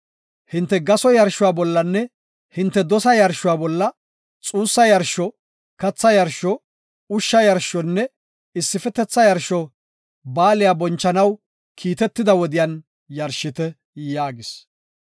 “Hinte gaso yarshuwa bollanne hinte dosa yarshuwa bolla xuussa yarsho, katha yarsho, ushsha yarshonne issifetetha yarsho Baaliya bonchanaw kiitetida wodiyan yarshite” yaagis.